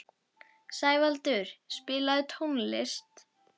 Sævaldur, spilaðu tónlist.